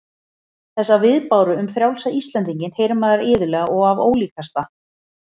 Þessa viðbáru um frjálsa Íslendinginn heyrir maður iðulega og af ólíkasta